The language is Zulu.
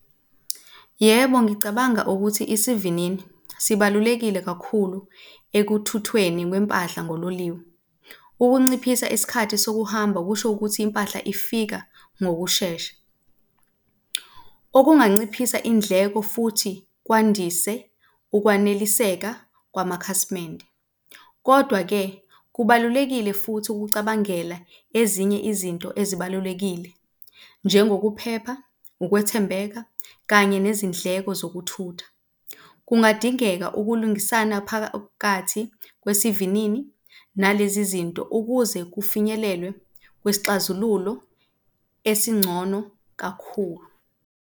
Yebo, ngicabanga ukuthi isivinini sibalulekile kakhulu ekuthuthweni kwempahla ngololiwe. Ukunciphisa isikhathi sokuhamba kusho ukuthi impahla ifika ngokushesha, okunganciphisa indleko futhi kwandise ukwaneliseka kwamakhasimende. Kodwa-ke, kubalulekile futhi ukucabangela ezinye izinto ezibalulekile njengokuphepha, ukwethembeka kanye nezindleko zokuthutha. Kungadingeka ukulungisana phakathi kwesivinini nalezi zinto ukuze kufinyelelwe kwisixazululo esingcono kakhulu.